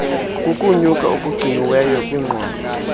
kukunyuka okugciniweyo kwiqondo